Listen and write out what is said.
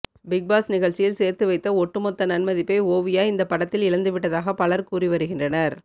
Bigg Boss நிகழ்ச்சியில் சேர்த்து வைத்த ஒட்டுமொத்த நன்மதிப்பை ஓவியா இந்த படத்தில் இழந்துவிட்டதாக பலர் கூறி வருகின்றனர்